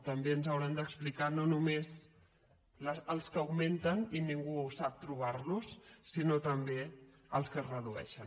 també ens hauran d’explicar no només els que augmenten i ningú sap trobar los sinó també els que es redueixen